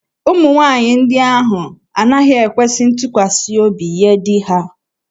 Ụmụ nwaanyị ndị ahụ anaghị ekwesi ntụkwasị obi nye di ha.